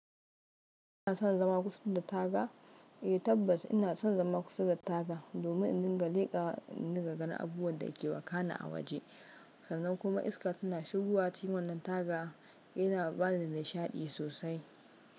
Kina son zama kusa da taga? Eh tabbas ina son zama kusa da taga, domin in dinga lekawa in dinga ganin abubuwan da ke wakana a waje. Sannan kuma iska tana shigowa cikin wannan taga yana bani nishaɗi sosai.